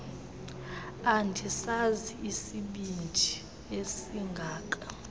andisazi isibindi esingaka